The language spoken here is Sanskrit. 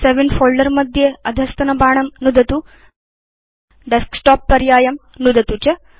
सवे इन् फोल्डर मध्ये अधस्तनबाणं नुदतु Desktop पर्यायं नुदतु च